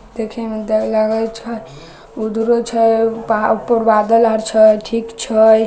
देखे मे डर लगे छै उधरो छै प ऊपर बादल आर छै ठीक छै।